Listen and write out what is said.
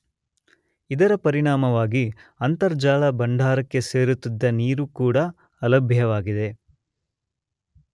ಇದರ ಪರಿಣಾಮವಾಗಿ ಅಂತರ್ಜಲ ಭಂಡಾರಕ್ಕೆ ಸೇರುತ್ತಿದ್ದ ನೀರೂ ಕೂಡ ಅಲಭ್ಯವಾಗಿದೆ.